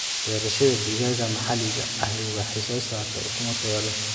Beerashada digaaga maxaliga ahi waxay soo saartaa ukumo tayo leh.